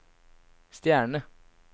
stjerne